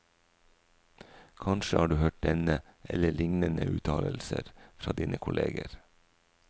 Kanskje har du hørt denne eller lignende uttalelser fra dine kolleger.